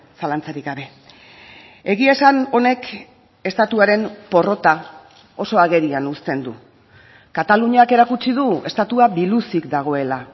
zalantzarik gabe egia esan honek estatuaren porrota oso agerian uzten du kataluniak erakutsi du estatua biluzik dagoela